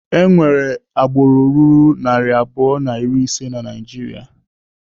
Enwere agbụrụ ruru narị abụọ na iri ise na Naijiria.